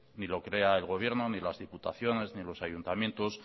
ni lo crea el gobierno ni las diputaciones ni los ayuntamientos